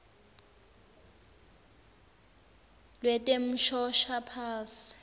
lwetemshoshaphasi